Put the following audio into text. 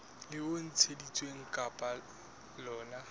leo e ntshitsweng ka lona